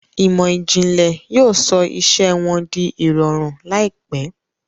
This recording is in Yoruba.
Ìmọ̀ ìjìnlẹ̀ yóò sọ iṣẹ́ wọn di ìrọ̀rùn láìpẹ́.